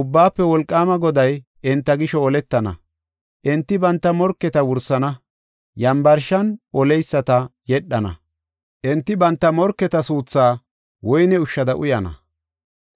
Ubbaafe Wolqaama Goday enta gisho oletana. Enti banta morketa wursana; yambarshan oleyisata yedhana. Enti banta morketa suuthaa woyne ushsha uyana;